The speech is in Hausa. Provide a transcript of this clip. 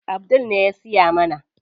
Abdul ne ya siya mana.